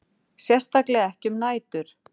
Sérstaklega ekki um nætur.